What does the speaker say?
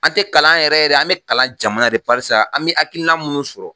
An te kalan yɛrɛ yɛrɛ an be kalan jamana de ye barisa an me akilikina munnu sɔrɔ